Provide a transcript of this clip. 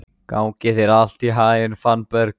Gangi þér allt í haginn, Fannberg.